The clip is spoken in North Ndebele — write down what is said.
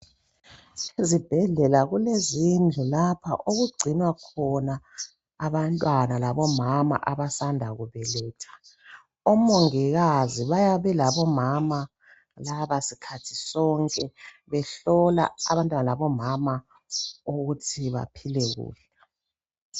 Ezibhedlela kulezindlu lapho okugcinwa khona abantwana labomama abasanda kubeletha omongikazi bayabe belabomama laba isikhathi sonke behlola abantwana labomama ukuthi baphile kuhle.